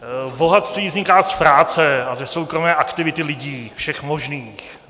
Bohatství vzniká z práce a ze soukromé aktivity lidí, všech možných.